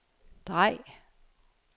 drej